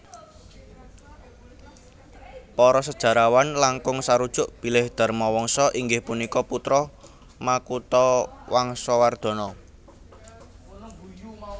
Para sejarawan langkung sarujuk bilih Dharmawangsa inggih punika putra Makutawangsawardhana